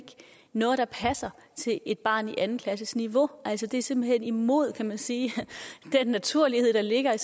noget der passer til et barn på anden klasses niveau altså det er simpelt hen imod kan man sige den naturlighed der ligger i